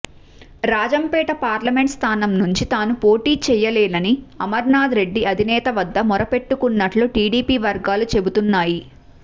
Rajampet parliament స్థానం నుంచి తాను పోటీ చెయ్యలేనని అమరనాథరెడ్డి అధినేత వద్ద మొరపెట్టుకున్నట్లు టీడీపీ వర్గాలు చెబుతున్నాయి